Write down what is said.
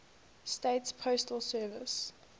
states postal service